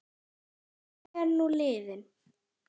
Sá tími er nú liðinn.